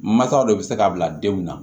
Masaw de be se ka bila denw na